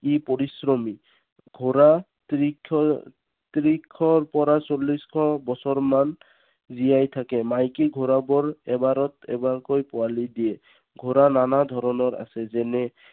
ই পৰিশ্ৰমী। ঘোঁৰা ত্ৰিশৰ ত্ৰিশৰ পৰা চল্লিশ বছৰ বছৰমান জীয়াই থাকে। মাইকী ঘোঁৰাবোৰ এবাৰত এবাৰকৈ পোৱালী দিয়ে। ঘোঁৰা নানা ধৰণৰ আছে। যেনে